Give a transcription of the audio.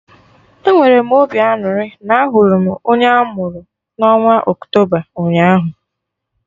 Enwere m obi aṅụrị na ahụrụ m onye amuru na onwa Octoba ụnyaahụ